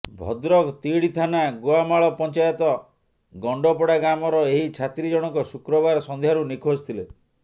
ଭଦ୍ରକ ତିହିଡ଼ି ଥାନା ଗୁଆମାଳ ପଂଚାୟତ ଗଣ୍ଡପଡ଼ା ଗ୍ରାମର ଏହି ଛାତ୍ରୀ ଜଣକ ଶୁକ୍ରବାର ସଂଧ୍ୟାରୁ ନିଖୋଜ ଥିଲେ